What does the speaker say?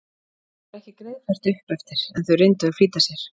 Það var ekki greiðfært upp eftir en þau reyndu að flýta sér.